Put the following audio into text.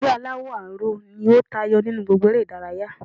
Ilé aláwò aró ni ó tayo nínú gbogbo ere ìdárayá